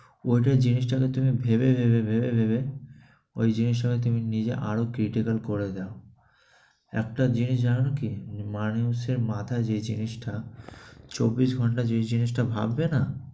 ঐটা জিনিসটাকে তুমি ভেবে ভেবে ভেবে ভেবে, ঐ জিনিসটাকে তুমি আরও critical করে দাও। একটা জিনিস জানো কি, মানুষের মাথায় যে জিনিসটা চব্বিশ ঘন্টা যে জিনিসটা ভাববে না?